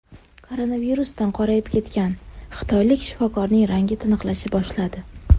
Koronavirusdan qorayib ketgan xitoylik shifokorning rangi tiniqlasha boshladi.